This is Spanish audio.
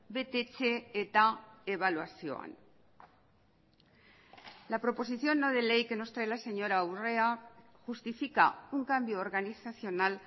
betetze eta ebaluazioan la proposición no de ley que nos trae la señora urrea justifica un cambio organizacional